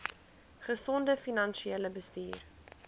gesonde finansiële bestuur